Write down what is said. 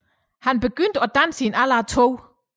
Han begyndte at danse i en alder af to